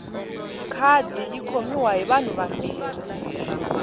khadi yi khomiwa hi vanhu vambirhi